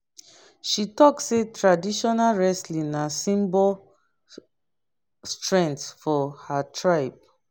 she talk say traditional wresling na symbol strenght for her tribe